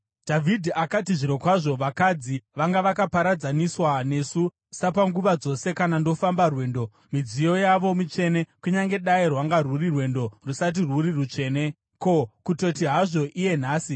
Dhavhidhi akati, “Zvirokwazvo vakadzi vanga vakaparadzaniswa nesu, sapanguva dzose kana ndofamba rwendo. Midziyo yavo mitsvene kunyange dai rwanga rwuri rwendo rusati rwuri rutsvene. Ko, kutoti hazvo iye nhasi!”